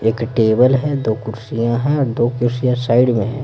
एक टेबल है दो कुर्सियाँ हैं और दो कुर्सियाँ साइड में हैं।